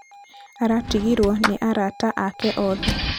aratigirwo nĩ arata ake oothe